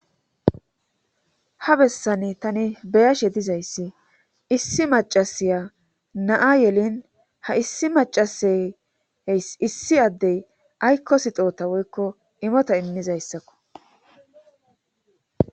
ha bessani tani beyashe dizayssi issi macasiya naa yelin ha issi macaseey issi addey aykko sixoota woykko imota inmizayssakko